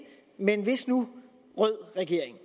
men hvis nu rød regering